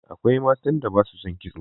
Akwai matan da ba su son kitso.